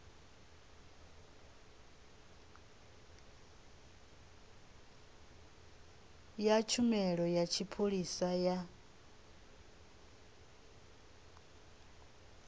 ya tshumelo ya tshipholisa ya